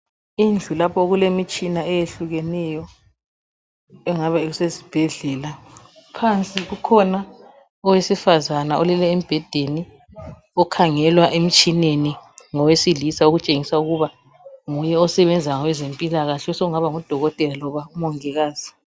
Indlu lapho okulemtshina eyehlukeneyo okungabe kusesibhedlela phansi kukhona owesifana olele embhedeni ukhangelwa emtshineni ngowesilisa ukuthi uyagulani okutshengisa ukuthi usebenza esibhedlela osengaba ngudokotela kumbe umongikazi